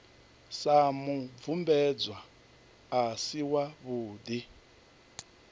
sa mubvumbedzwa a si wavhudi